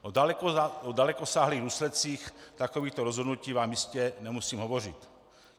O dalekosáhlých důsledcích takovýchto rozhodnutí vám jistě nemusím hovořit.